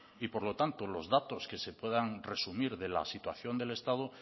y por lo tanto los datos que se puedan resumir de la situación del estado